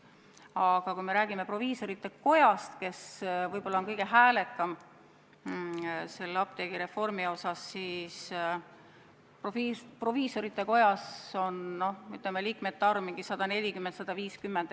Aga kui me räägime proviisorite kojast, kes on võib-olla apteegireformist rääkides kõige häälekam olnud, siis proviisorite kojas on liikmete arv 140–150.